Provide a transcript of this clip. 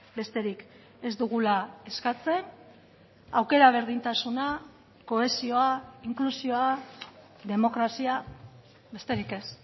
besterik ez dugula eskatzen aukera berdintasuna kohesioa inklusioa demokrazia besterik ez